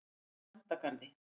Grandagarði